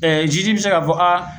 bi se ka fɔ